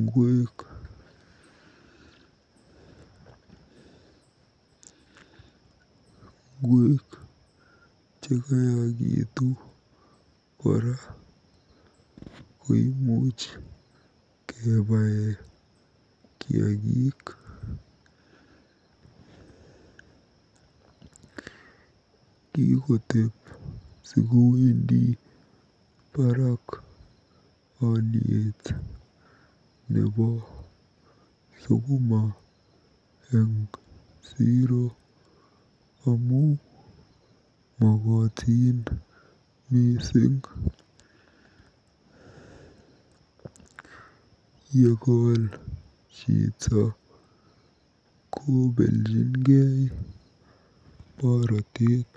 ngweek. Ngweek chekayakitu kora koimuch kebae kiagik. Kikotep sikowendi barak olyet nebo sukuma eng siro amu makotin mising. Yekol chito kobeljingei borotet.